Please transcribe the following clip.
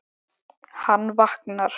Hann vaknar.